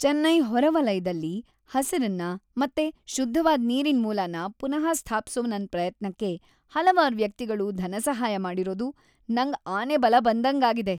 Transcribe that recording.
ಚೆನ್ನೈ ಹೊರವಲಯ್ದಲ್ಲಿ ಹಸಿರನ್ನ ಮತ್ತೆ ಶುದ್ಧವಾದ್ ನೀರಿನ್ಮೂಲನ ಪುನಃ ಸ್ಥಾಪ್ಸೋ ನನ್ ಪ್ರಯತ್ನಕ್ಕೆ ಹಲ್ವಾರು ವ್ಯಕ್ತಿಗಳು ಧನಸಹಾಯ ಮಾಡಿರೋದು ನಂಗ್‌ ಆನೆಬಲ ಬಂದಂಗಾಗಿದೆ.